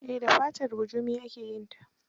Eh da fatar bujumi ake yin ta.